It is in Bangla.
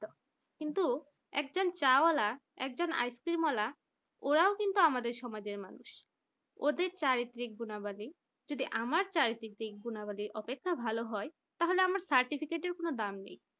কিন্তু একজন চাওয়ালা একজন আইসক্রিম ওয়ালা ওরাও কিন্তু আমাদের সমাজের মানুষ ওদের চারিত্রিক গুণাবলী, যদি আমার চারিত্রিক গুণাবলী অপেক্ষা ভালো হয় তাহলে আমার certificate কোন দাম নেই